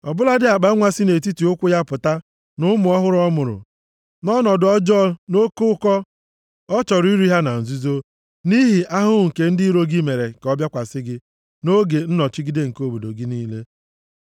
ọ bụladị akpanwa si nʼetiti ụkwụ ya pụta na ụmụ ọhụrụ ọ mụrụ. Nʼọnọdụ ọjọọ nʼoke ụkọ ya, ọ chọrọ iri ha na nzuzo, nʼihi ahụhụ nke ndị iro gị mere ka ọ bịakwasị gị nʼoge nnọchigide nke obodo gị niile.